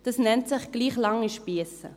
Dies nennt sich «gleich lange Spiesse».